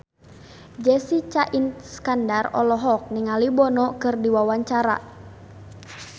Jessica Iskandar olohok ningali Bono keur diwawancara